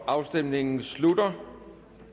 afstemningen slutter